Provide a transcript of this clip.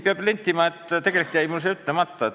Peab nentima, et tegelikult jäi mul see ütlemata.